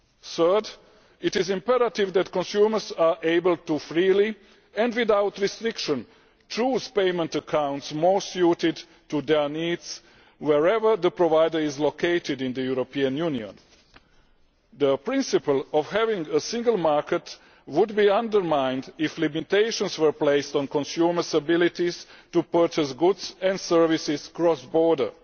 Third, it is imperative that consumers are able to freely, and without restriction, choose payment accounts most suited to their needs, wherever the provider is located in the European Union. The principle of having a single market would be undermined if limitations were placed on consumersʼ ability to purchase goods and services cross border.